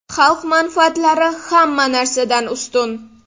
Xalq manfaatlari hamma narsadan ustun!